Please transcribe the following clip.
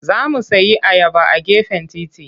Za mu sayi ayaba a gefen titi.